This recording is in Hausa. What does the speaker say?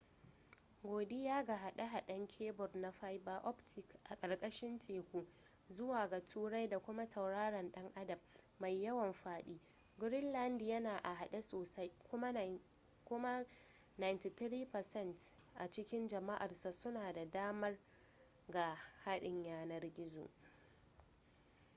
godiya ga haɗe-haɗen kebur na fiber optic a ƙarƙarshin teku zuwa ga turai da kuma tauraron ɗan adam mai yawan faɗi greenland yana a haɗe sosai kuma 93% a cikin jam'arsa suna da damar ga haɗin yanar-gizo